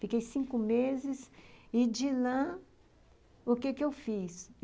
Fiquei cinco meses e, de lá, o que que eu fiz?